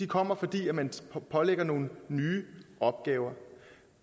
kommer fordi man pålægges nogle nye opgaver